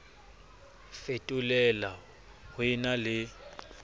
fetolela ho e na le